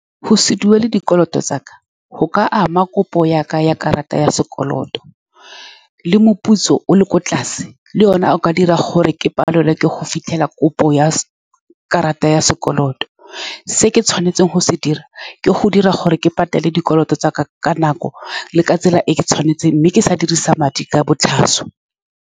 Go se duele dikoloto tsa ka go ka ama kopo ya ka ya karata ya sekoloto, le moputso o le kwa tlase le yone o ka dira gore ke palelwe ke go fitlhelela kopo ya karata ya sekoloto. Se ke tshwanetseng go se dira ke go dira gore ke patele dikoloto tsa ka ka nako le ka tsela e ke tshwanetseng, mme ke sa dirisa madi ka botlhaswa.